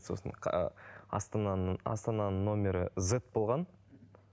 сосын астананың астананың нөмірі зет болған